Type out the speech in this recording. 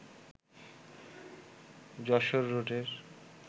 যশোর রোডের